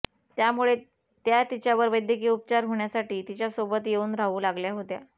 त्यामुळे त्या तिच्यावर वैद्यकीय उपचार होण्यासाठी तिच्यासोबत येऊन राहू लागल्या होत्या